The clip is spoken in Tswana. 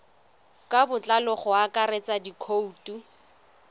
ka botlalo go akaretsa dikhoutu